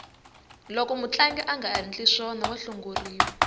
loko mutlangi angandli swona wa hlongoriwa